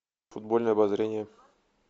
футбольное обозрение